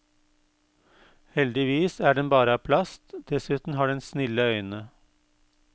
Heldigvis er den bare av plast, dessuten har den snille øyne.